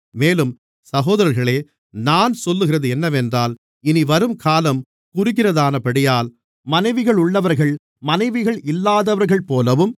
மேலும் சகோதரர்களே நான் சொல்லுகிறது என்னவென்றால் இனிவரும் காலம் குறுகினதானபடியால் மனைவிகளுள்ளவர்கள் மனைவிகள் இல்லாதவர்கள்போலவும்